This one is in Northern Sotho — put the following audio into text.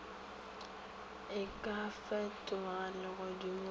e ka fetoga legodimo go